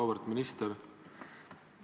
Auväärt minister!